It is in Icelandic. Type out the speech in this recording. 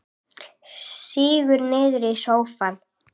Sígur niður í sófann.